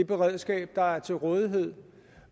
beredskab der er til rådighed